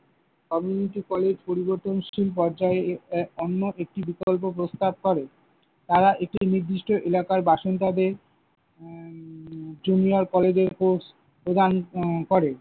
community college পরিবর্তনশীল পর্যায়ে আহ অন্য একটি বিকল্প প্রস্তাব করে। তারা একটি নির্দিষ্ট এলাকার বাসিন্দাদের উম junior কলেজের course প্রদান উম করে।